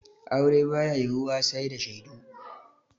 Aure ba ya yiwuwa sai da shaidu.